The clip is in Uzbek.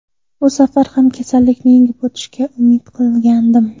Bu safar ham kasallikni yengib o‘tishiga umid qilgandim.